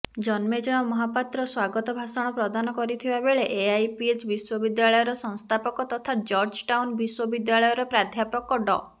ଜନ୍ମେଜୟ ମହାପାତ୍ର ସ୍ବାଗତ ଭାଷଣ ପ୍ରଦାନ କରିଥିବା ବେଳେ ଏଆଇପିଏଚ୍ ବିଶ୍ୱବିଦ୍ୟାଳୟର ସଂସ୍ଥାପକ ତଥା ଜର୍ଜଟାଉନ ବିଶ୍ବବିଦ୍ୟାଳୟର ପ୍ରଧ୍ୟାପକ ଡ